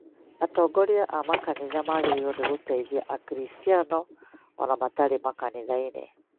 Atongoria a makanitha magĩrĩirũo gũteithia Akristiano o na matarĩ makanithainĩ